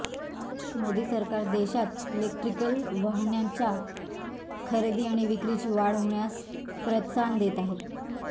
मोदी सरकार देशात इलेक्ट्रिकल वाहनांच्या खरेदी आणि विक्रीची वाढ होण्यास प्रोत्साहन देत आहे